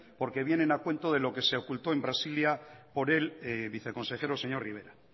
porque vienen a cuento por lo que se ocultó en brasilia por el viceconsejero señor rivera